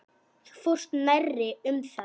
Þú fórst nærri um það.